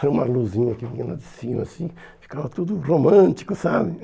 Era uma luzinha que vinha lá de cima, assim, ficava tudo romântico, sabe?